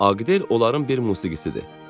"Agidel onların bir musiqicisidir.